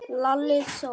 Lalli þó!